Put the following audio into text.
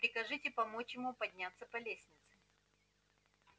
прикажете помочь ему подняться по лестнице